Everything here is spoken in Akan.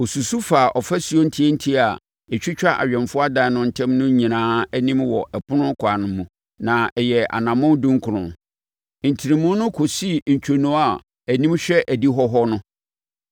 Ɔsusu faa afasuo ntiantia a ɛtwitwa awɛmfoɔ adan no ntam no nyinaa anim wɔ ɛpono ɛkwan no mu, na ɛyɛɛ anammɔn aduɔkron. Ntenemu no kɔsii ntwonoo a anim hwɛ adihɔ hɔ no.